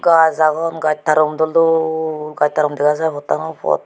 baas agon gaaj tarum dol dol gaaj tarum dega jaai pottano pot.